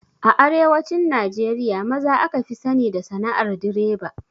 A arewacin Najeriya maza aka fi sani da sana'ar direba.